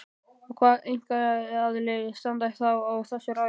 Og hvað einkaaðilar standa þá að þessu ráði?